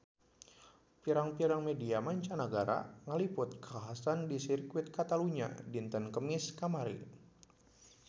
Pirang-pirang media mancanagara ngaliput kakhasan di Sirkuit Catalunya dinten Kemis kamari